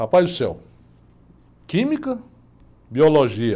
Rapaz do céu, química, biologia,